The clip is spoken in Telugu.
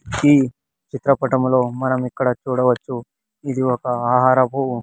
ఈ చిత్రపటంలో మనం ఇక్కడ చూడవచ్చు ఇది ఒక ఆహారపు--